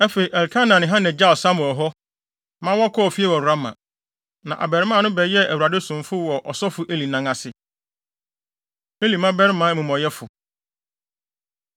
Afei, Elkana ne Hana gyaw Samuel hɔ ma wɔkɔɔ fie wɔ Rama. Na abarimaa no bɛyɛɛ Awurade somfo wɔ ɔsɔfo Eli nan ase. Eli Mmabarima Amumɔyɛfo